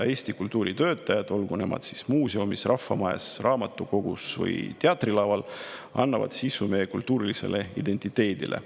Eesti kultuuritöötajad, nad siis muuseumis, rahvamajas, raamatukogus või teatrilaval, annavad sisu meie kultuurilisele identiteedile.